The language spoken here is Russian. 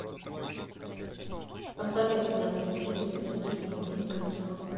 посоветуй мне на телевизоре передачу индийское кино